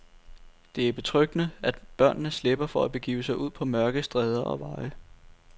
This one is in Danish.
Det er betryggende, at børnene slipper for at begive sig ud på mørke stræder og veje.